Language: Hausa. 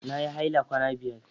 Na yi haila kwana biyar.